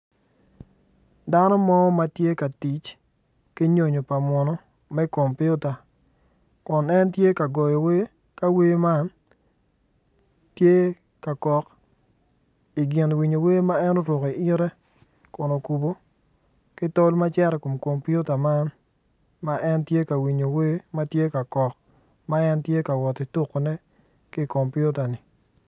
Dano mo ma tye ki nyonyo pa munu me kopiota kun en tye k agoyo wer ka wer man tye ka kok i gin winyo wer ma en oruko iyite kun okubo ki tol ma cito i kom kompiota man ma en tye winyo wer ma tye kok ma en tye ka woti tukone ki i kompiotan-ni.